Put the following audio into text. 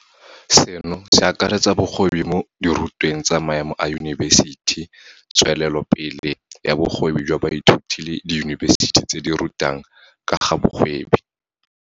Seno se akaretsa bogwebi mo dirutweng tsa maemo a yunibesithi, tsweletsopele ya bogwebi jwa baithuti le diyunibesithi tse di rutang ka ga bogwebi.